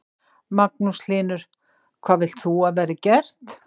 Magnús Hlynur: Hvað vilt þú að verði gert?